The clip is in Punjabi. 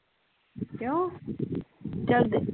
ਕਿਓ